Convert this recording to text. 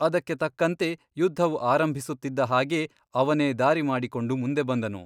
ಅದಕ್ಕೆ ತಕ್ಕಂತೆ ಯುದ್ಧವು ಆರಂಭಿಸುತ್ತಿದ್ದ ಹಾಗೇ ಅವನೇ ದಾರಿ ಮಾಡಿಕೊಂಡು ಮುಂದೆ ಬಂದನು.